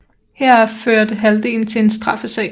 Heraf førte halvdelen til en straffesag